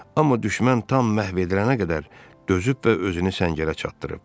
Amma düşmən tam məhv edilənə qədər dözüb və özünü səngərə çatdırıb.